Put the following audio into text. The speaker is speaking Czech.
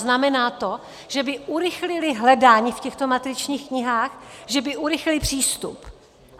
Znamená to, že by urychlily hledání v těchto matričních knihách, že by urychlily přístup.